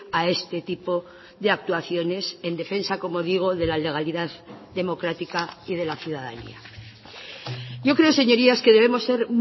a este tipo de actuaciones en defensa como digo de la legalidad democrática y de la ciudadanía yo creo señorías que debemos ser